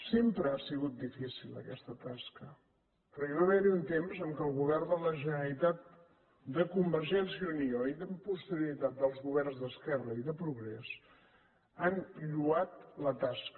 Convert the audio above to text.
sempre ha sigut difícil aquesta tasca però hi va haver un temps en què el govern de la generalitat de convergència i unió i amb posterioritat dels governs d’esquerra i de progrés han lloat la tasca